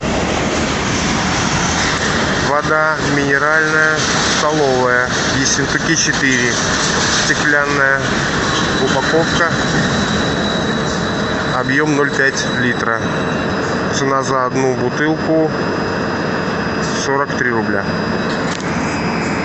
вода минеральная столовая ессентуки четыре стеклянная упаковка объем ноль пять литра цена за одну бутылку сорок три рубля